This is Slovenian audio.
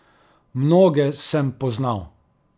Mnoge sem poznal.